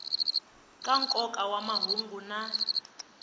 ka nkoka wa mahungu na